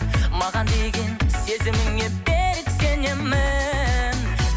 маған деген сезіміңе берік сенемін